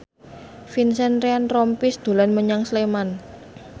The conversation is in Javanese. Vincent Ryan Rompies dolan menyang Sleman